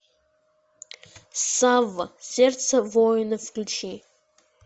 савва сердце воина включи